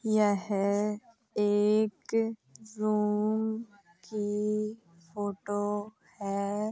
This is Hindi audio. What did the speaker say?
यह एक रूम की फोटो है।